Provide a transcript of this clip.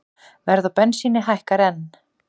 Verð á bensíni hækkar enn